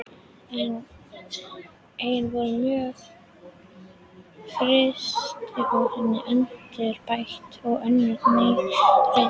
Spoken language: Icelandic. Einnig voru mörg frystihús endurbætt og önnur ný reist.